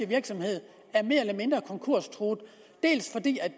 virksomhed er mere eller mindre konkurstruet dels fordi